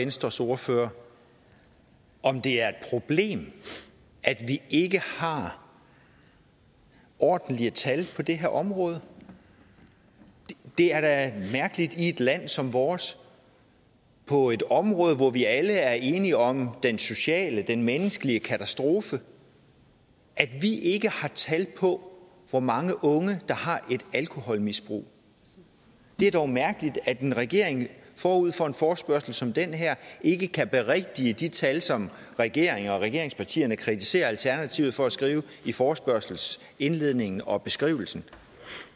venstres ordfører om det er et problem at vi ikke har ordentlige tal på det her område det er da mærkeligt i et land som vores på et område hvor vi alle er enige om den sociale det menneskelige katastrofe at vi ikke har tal på hvor mange unge der har et alkoholmisbrug det er dog mærkeligt at en regering forud for en forespørgsel som denne ikke kan berigtige de tal som regeringen og regeringspartierne kritiserer alternativet for at skrive i forespørgselsindledningen og beskrivelsen